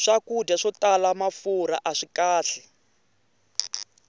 swakudya swo tala mafurha aswi kahle